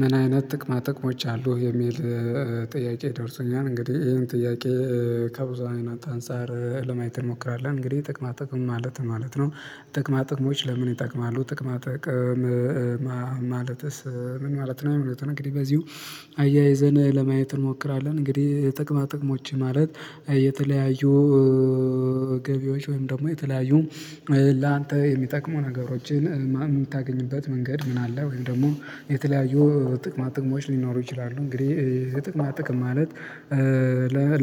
ምን አይነት ጥቅማ ጥቅሞች አሉ የሚል ጥያቄ ደርሶኛል። እንግዲህ ይሄን ጥያቄ ከብዙ አይነት አንፃር ለማየት እንሞክራለን። እንግዲህ ጥቅማ ጥቅም ማለት ማለት ነው። ጥቅማ ጥቅሞች ለምን ይጠቅማሉ ጥቅማ ጥቅም? ማለትስ ምን ማለት ነው ሚሉትን እንግዲህ በዚሁ አያይዘን ለማየት እንሞክራለን። እንግዲህ የጥቅማ ጥቅሞች ማለት የተለያዩ ገቢዎች ወይም ደግሞ የተለያዩ ላንተ የሚጠቅሙ ነገሮችን ምን የምታገኝበት መንገድ ምን አለ ወይም ደግሞ የተለያዩ ጥቅማ ጥቅሞች ሊኖሩ ይችላሉ። እንግዲህ የጥቅማ ጥቅም ማለት